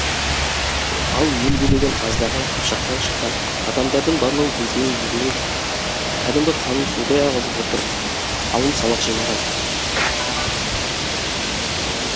ал ел билеген аздаған қыпшақтан шыққан адамдардың барлығы өзінің елінің кәдімгі қанын судай ағызып отырып алым салық жинаған